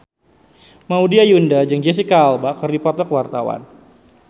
Maudy Ayunda jeung Jesicca Alba keur dipoto ku wartawan